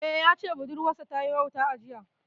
Eh, ya ce budurwar sa ta yi wauta a jiya